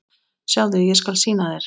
Sjáðu, ég skal sýna þér